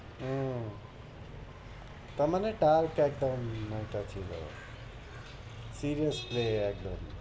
ওহ তার মানে টাল~ ছিলো, ঠিক আছে একদম